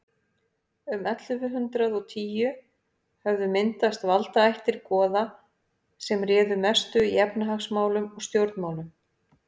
um ellefu hundrað og tíu höfðu myndast valdaættir goða sem réðu mestu í efnahagsmálum og stjórnmálum